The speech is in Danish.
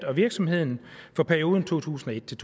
og virksomheden for perioden to tusind og et til